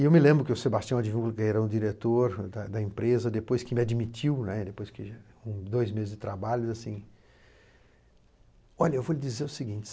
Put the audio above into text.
E eu me lembro que o Sebastião, que era o diretor da da empresa, depois que me admitiu, né, depois de dois meses de trabalho, assim... Olha, eu vou lhe dizer o seguinte.